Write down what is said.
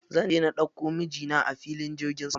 Zanje na ɗauko mijina a filin jirgin sama.